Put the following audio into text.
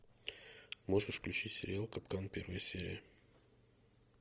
можешь включить сериал капкан первая серия